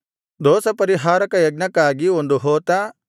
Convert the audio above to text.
ದೋಷಪರಿಹಾರಕ ಯಜ್ಞಕ್ಕಾಗಿ ಒಂದು ಹೋತ